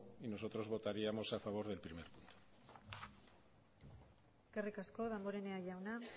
nosotros votaríamos a favor del primer punto eskerrik asko damborenea jauna